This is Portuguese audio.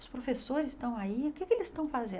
Os professores estão aí, o que é que eles estão fazendo?